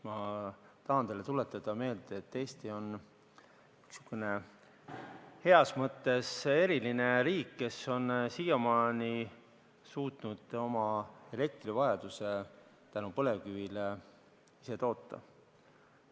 Ma tahan meelde tuletada, et Eesti on heas mõttes eriline riik, kes on siiamaani suutnud elektrivajaduse tänu põlevkivile ise katta.